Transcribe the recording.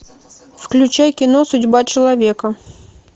включай кино судьба человека